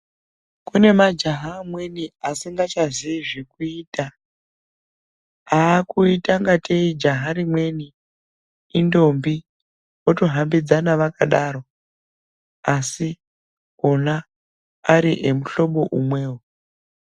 Kune majaha amweni asingachaziyi zvekuita akuita ngateyi jaha rimweni intombi otohambidzana vakadaro asi ona ari emuhlobo umwewo.